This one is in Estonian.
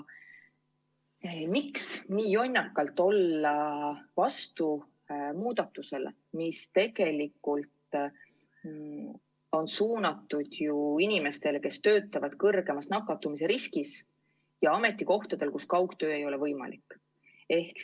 Miks ikkagi nii jonnakalt olla vastu muudatusele, mis tegelikult on suunatud inimestele, kes töötavad kõrgema nakatumise riskiga just ametikohtadel, kus kaugtöö ei ole võimalik?